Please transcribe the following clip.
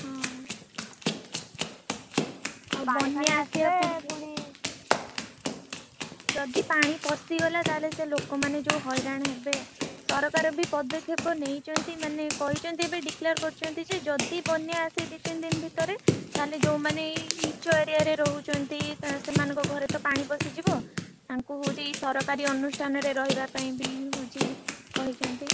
ହଁ! ବନ୍ୟା ଆସିବା ପୂର୍ବରୁ ଯଦି ପାଣି ପଶିଗଲା ତାହେଲ ସେ ଲୋକମାନେ ଯୋଉ ହଇରାଣ ହେବେ ସରକାର ବି ପଦକ୍ଷପ ନେଇଛନ୍ତି ମାନେ କହିଛନ୍ତି ବି declare କରିଛନ୍ତି ଜେ ଯଦି ବନ୍ୟା ଆସେ ଦି ତିନଦିନ ଭିତରେ ତାହେଲେ ଯୋଉମାନେ ଏଇ ନୀଚ area ରେ ରହୁଛନ୍ତି ସେମାନଙ୍କ ଘରେ ତ ପାଣି ପଶିଯିବ ତାଙ୍କୁ ହଉଛି ଏଇ ସରକାରୀ ଅନୁଷ୍ଠାନ ରେ ରହିବା ପାଇଁ ହଉଛି କହିଛନ୍ତି।